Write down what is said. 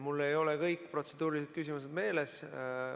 Mul ei ole kõik protseduurilised küsimused meeles.